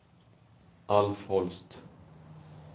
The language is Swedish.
Alf Holst